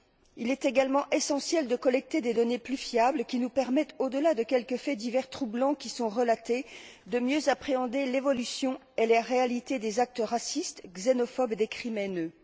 Il est également essentiel de collecter des données plus fiables qui nous permettent, au delà de quelques faits divers troublants qui sont relatés, de mieux appréhender l'évolution et la réalité des actes racistes, xénophobes, et des crimes haineux.